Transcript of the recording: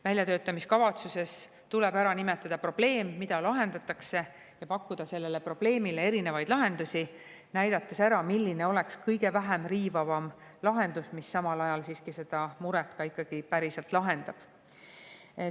Väljatöötamiskavatsuses tuleb ära nimetada probleem, mida lahendatakse, ja pakkuda sellele probleemile erinevaid lahendusi, näidates ära, milline oleks kõige vähem riivav lahendus, mis samal ajal siiski selle mure ikkagi päriselt lahendab.